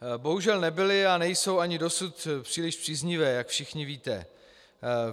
Bohužel nebyly a nejsou ani dosud příliš příznivé, jak všichni víte.